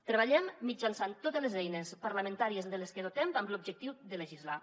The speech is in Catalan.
treballem mitjançant totes les eines parlamentàries de les que ens dotem amb l’objectiu de legislar